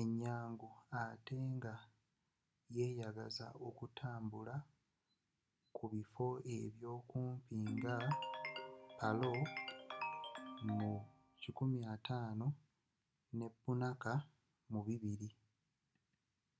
enyangu atte nga yeyagaza okugenda ku bifo ebyo kumpi nga paro nu 150 ne punakha nu 200